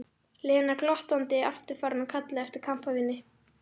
Lena glottandi aftur farin að kalla eftir kampavíni.